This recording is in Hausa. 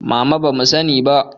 Mama bamu sani ba